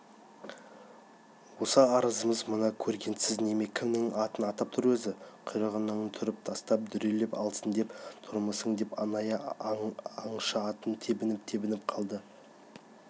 осы арызымыз мына көргенсіз неме кімнің атын атап тұр өзі құйрығыңды түріп тастап дүрелеп алсын деп тұрмысың деп анайы аңшы атын тебініп-тебініп қалды